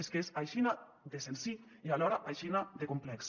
és que és aixina de senzill i alhora aixina de complex